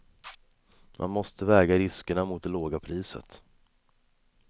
Man måste väga riskerna mot det låga priset.